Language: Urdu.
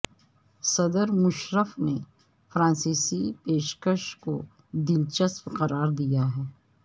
صدر مشرف نے فرانسیسی پیشکش کو دلچسپ قرار دیا ہے